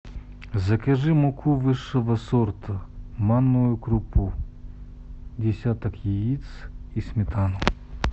закажи муку высшего сорта манную крупу десяток яиц и сметану